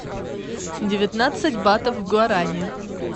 девятнадцать батов в гуарани